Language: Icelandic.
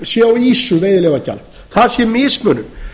sé á ýsu veiðileyfagjald það sé mismunun